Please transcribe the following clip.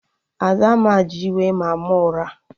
Adanne ji iwe maa mụ ụra